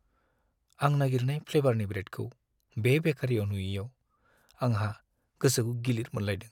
आं नागिरनाय फ्लेभारनि ब्रेडखौ बे बेकारियाव नुयैआव आंहा गोसोखौ गिलिर मोनलायदों।